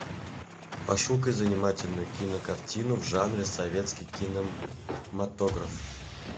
пошукай занимательную кинокартину в жанре советский кинематограф